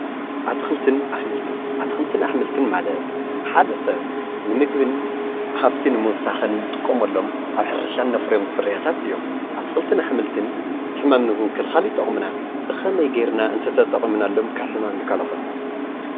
እትክልትን ኣሕምልትን፦ እትክልትን ኣሕምልትን ማለት ሓደ ሰብ ንምግብን ሃፍቲ ንምዉሳኽን እንጥቀመሎም ኣብ ሕርሻ እነፍርዮም ፍርያታት እዮም። እትክልትን ኣሕምልትን ሕማም ንምክልኻል ይጠቕሙና። ብከመይ ገይርና ተተጠቂምናሎም ካብ ሕማም ይከላኸሉልና?